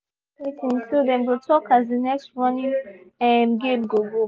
dem do short meeting so dem go talk as the next running um game go go